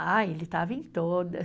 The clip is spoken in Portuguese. Ah, ele estava em todas.